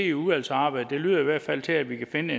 i udvalgsarbejdet det lyder i hvert fald til at vi kan